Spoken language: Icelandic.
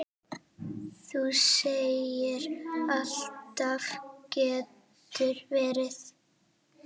Þú segir alltaf getur verið!